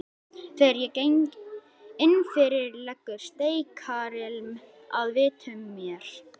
Þegar ég geng innfyrir leggur steikarilm að vitum mér.